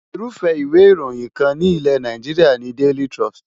Irúfẹ́ ìwé ìròyìn kan ní ilẹ̀ Nàìjíríà ni Daily Trust.